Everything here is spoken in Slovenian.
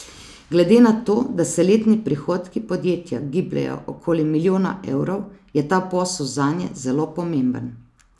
Glede na to da se letni prihodki podjetja gibljejo okoli milijona evrov, je ta posel zanje zelo pomemben.